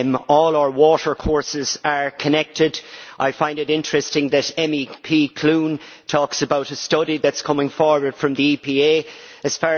All our water courses are connected. I find it interesting that Ms Clune talks about a study that is coming forward from the EPA As